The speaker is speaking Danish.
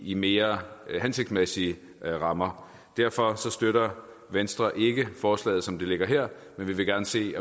i mere hensigtsmæssige rammer derfor støtter venstre ikke forslaget som det ligger her men vi vil gerne se